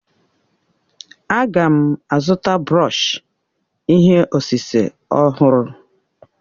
A ga m azụta brọọshi ihe osise ọhụrụ.